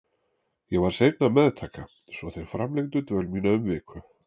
Ég var seinn að meðtaka svo þeir framlengdu dvöl mína um viku.